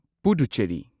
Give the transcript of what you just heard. Puducherry